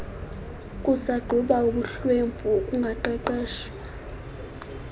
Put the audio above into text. kusagquba ubuhlwempu ukungaqeshwa